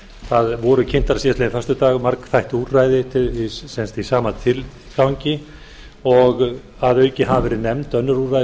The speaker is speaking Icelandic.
það voru kynnt síðastliðinn föstudag margþætt úrræði í sama tilgangi og að auki hafa verið nefnd önnur úrræði